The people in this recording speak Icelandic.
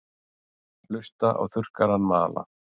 Hlusta á þurrkarann mala.